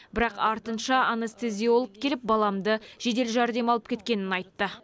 бірақ артынша анестезиолог келіп баламды жедел жәрдем алып кеткенін айтты